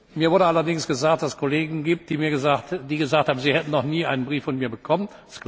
Mir wurde allerdings gesagt, dass es Kollegen gibt, die gesagt haben, sie hätten noch nie einen Brief von mir bekommen.